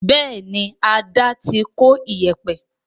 bẹẹni Ada tí kò Iyẹ̀pẹ̀